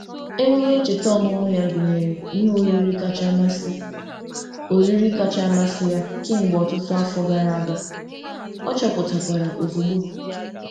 Emume ncheta ọmụmụ ya gụnyere ihe oriri kacha amasị oriri kacha amasị ya kemgbe ọtụtụ afọ gara aga, ọ chọpụtakwara ozugbo.